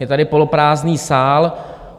Je tady poloprázdný sál.